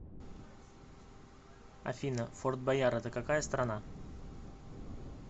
афина форт бойяр это какая страна